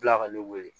Bila ka ne weele